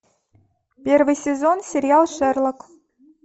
первый сезон сериал шерлок